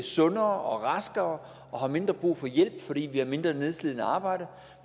sundere og raskere og har mindre brug for hjælp fordi vi har mindre nedslidende arbejde